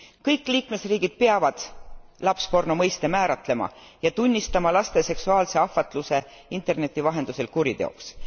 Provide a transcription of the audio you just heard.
Kõik liikmesriigid peavad lapsporno mõiste määratlema ja tunnistama laste seksuaalse ahvatluse interneti vahendusel kuriteoks.